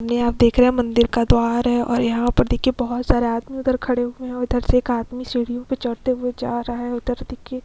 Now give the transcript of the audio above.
ये आप देख रहे हैं मंदिर का द्वार है और यहां पर देखिए बहोत सारे आदमी उधर खड़े हुए हैं। उधर से एक आदमी सीढ़ियों पर चढ़ते हुए जा रहा है। उधर देखिए --